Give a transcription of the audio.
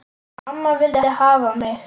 Amma vildi hafa mig.